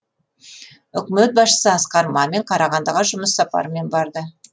үкімет басшысы асқар мамин қарағандыға жұмыс сапарымен барды